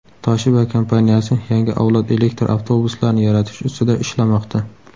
Toshiba kompaniyasi yangi avlod elektr avtobuslarini yaratish ustida ishlamoqda.